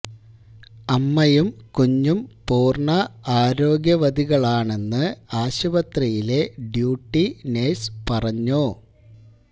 അമ്മയും കുഞ്ഞും പൂര്ണ ആരോഗ്യവതികളാണെന്ന് ആശുപത്രിയിലെ ഡ്യൂട്ടി നഴ്സ് പറഞ്ഞു